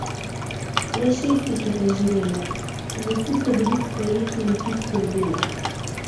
Le šest jih je preživelo in vsi so bili sprejeti na tisti oddelek.